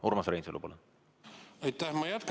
Urmas Reinsalu, palun!